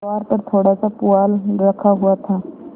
द्वार पर थोड़ासा पुआल रखा हुआ था